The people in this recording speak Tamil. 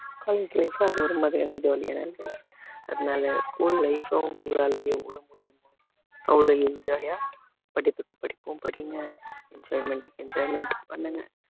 college life உ அது ஒரு மாதிரியான jolly யாதான் இருந்தது அதனால school life அ உங்களால எவ்வளவு முடியுமோ அவ்வளவு enjoy யா படிப்புக்கு படிப்பும் படிங்க enjoyment க்கு enjoyment உம் பண்ணுங்க